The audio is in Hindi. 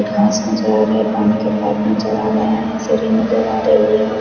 घास नजर आ रही है पानी के पाइप नजर आ रहे है सीढ़िया नजर आ रही है।